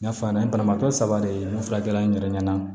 N y'a f'a ɲɛnɛ n ye banabaatɔ saba de ye n fila kɛ la n yɛrɛ ɲɛna